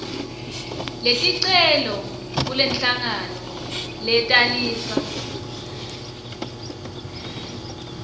leticelo kulenhlangano letalisa